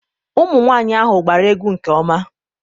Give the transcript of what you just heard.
ụmụnwaanyị ahụ gbara egwu nke ọma